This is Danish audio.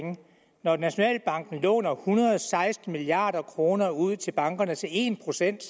når nationalbanken låner en hundrede og seksten milliard kroner ud til bankerne til en procent